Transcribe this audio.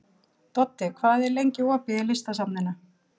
Doddi, hvað er lengi opið í Listasafninu?